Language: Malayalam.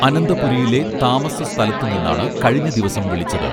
അനന്തപുരിയിലെ താമസസ്ഥലത്തു നിന്നാണ് കഴിഞ്ഞദിവസം വിളിച്ചത്